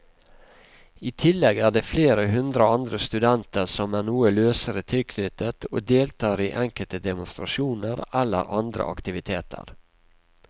I tillegg er det flere hundre andre studenter som er noe løsere tilknyttet og deltar i enkelte demonstrasjoner eller andre aktiviteter.